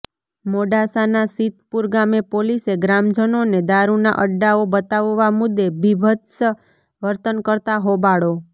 મોડાસાના સીતપુર ગામે પોલીસે ગ્રામજનોને દારૂના અડ્ડાઓ બતાવવા મુદ્દે બિભત્સ વર્તન કરતાં હોબાળો